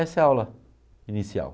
Essa é a aula inicial.